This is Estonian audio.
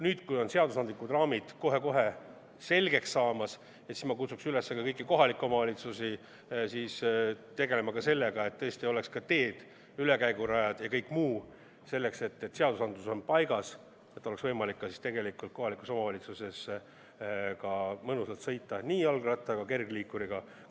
Nüüd, kui õiguslikud raamid on kohe-kohe selgeks saamas, kutsun ma kõiki kohalikke omavalitsusi üles tegelema sellega, et kui seadus on paigas, oleks tõesti olemas ka teed, ülekäigurajad ja kõik muu, et kohaliku omavalitsuse alal oleks võimalik nii jalgratta kui ka kergliikuriga mõnusalt sõita ning jalakäijana liikuda.